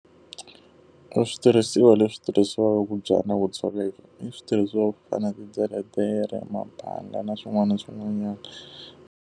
Ku switirhisiwa leswi tirhisiwaka ku byala na ku cheleta, i switirhisiwa swa ku fana titeretere, mabhanga na swin'wana na swin'wanyana.